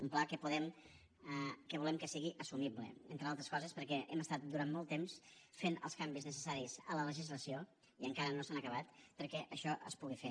un pla que volem que sigui assumible entre altres coses perquè hem estat durant molt temps fent els canvis necessaris a la legislació i encara no s’han acabat perquè això es pugui fer